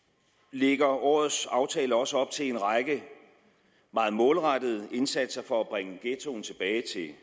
lægger årets aftale også op til en række meget målrettede indsatser for at bringe ghettoen tilbage